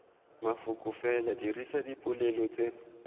mafoko fela dirisa dipolelo tse